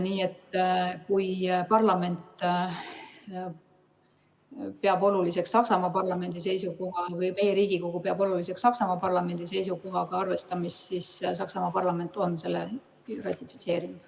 Nii et kui meie Riigikogu peab oluliseks Saksamaa parlamendi seisukohaga arvestamist, siis Saksamaa parlament on selle ratifitseerinud.